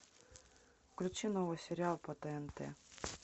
включи новый сериал по тнт